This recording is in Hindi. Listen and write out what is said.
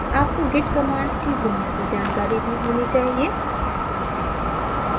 आपको git commands की बुनियादी जानकारी भी होनी चाहिए